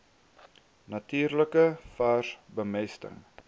natuurlike vars bemesting